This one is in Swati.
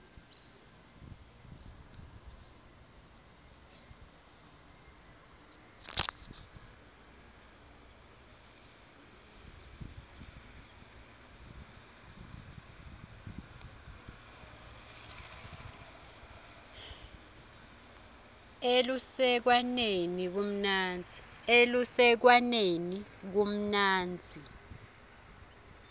elusekwaneni kumnandzi